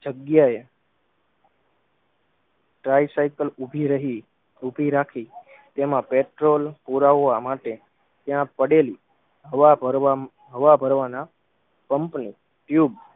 જગ્યાએ trai cycle ઉભી રહી ઉભી રાખી તેમાં પેટ્રોલ પુરાવવા માટે ત્યાં પડેલી હવા ભરવા હવા ભરવાના પંપની ટ્યુબ